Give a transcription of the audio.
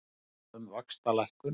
Sammála um vaxtalækkun